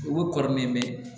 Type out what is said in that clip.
U bɛ kɔrɔ min bɛ